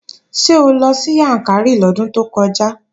Ṣé o lọ sí Yàǹkàrí lọ́dún tó kọjá?